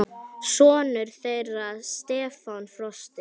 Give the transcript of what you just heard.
Sonur þeirra Stefán Frosti.